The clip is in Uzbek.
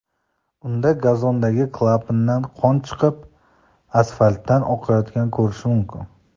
Unda gazondagi klapandan qon chiqib, asfaltdan oqayotganini ko‘rish mumkin.